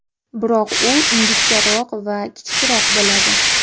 Biroq u ingichkaroq va kichikroq bo‘ladi.